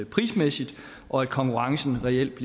prismæssigt og at konkurrencen reelt